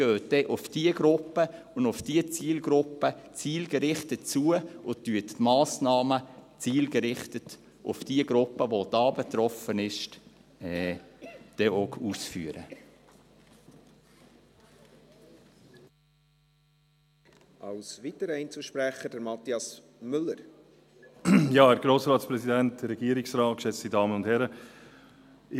Gehen Sie dann zielgerichtet auf die Gruppen und die Zielgruppen zu, und führen Sie auch Massnahmen aus, die auf die Gruppe zielgerichtet sind, die da betroffen ist.